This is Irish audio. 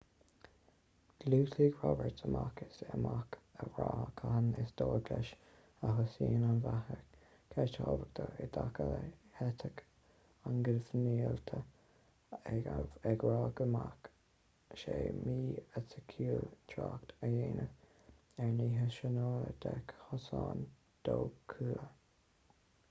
dhiúltaigh roberts amach is amach a rá cathain is dóigh leis a thosaíonn an bheatha ceist thábhachtach i dtaca le heitic an ghinmhillte ag rá go mbeadh sé mí-eiticiúil trácht a dhéanamh ar nithe sainiúla de chásanna dóchúla